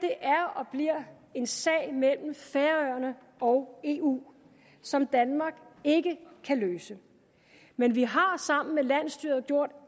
er og bliver en sag mellem færøerne og eu som danmark ikke kan løse men vi har sammen med landsstyret gjort